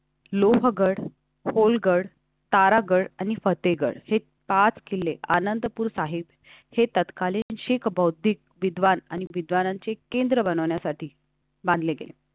लोहगड होलगड तारागढ आणि फतेहगढ हे पाच किल्ले आनंदपुर साहिब हे तत्कालीन शीख बौद्ध विद्वान आणि विद्वानांची केंद्र बनवण्यासाठी बांधलेले.